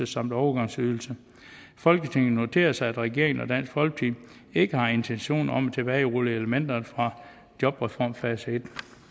samt overgangsydelse folketinget noterer sig at regeringen og dansk folkeparti ikke har intentioner om at tilbagerulle elementerne fra jobreform fase i